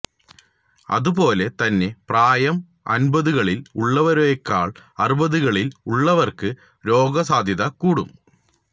അതുപോലെ തന്നെ പ്രായം അന്പതുകളില് ഉള്ളവരേക്കാള് അറുപതുകളില് ഉള്ളവര്ക്ക് രോഗസാധ്യത കൂടും